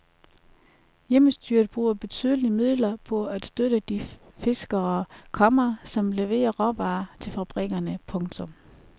Hjemmestyret bruger betydelige midler på at støtte de fiskere, komma som leverer råvarer til fabrikkerne. punktum